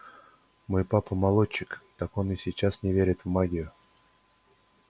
мой папа молочник так он и сейчас не верит в магию